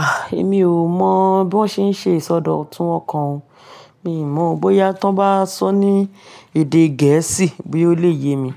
Ah, èmi ò mọ̀ bí wọ́n ṣe ń ṣe ìsọdọ̀tun ọkàn o. Mi mọ̀ bóyá tó bá sọ ní èdè Gẹ̀ẹ́sì bí ó le ye mi,